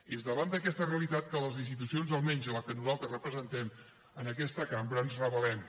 i és davant d’aquesta realitat que les institucions almenys la que nosaltres representem en aquesta cambra ens rebel·lem